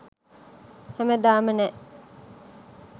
හැමදාම නෑ